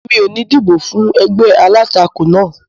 Mi ò ní dìbò fún ẹgbẹ́ alátakò náà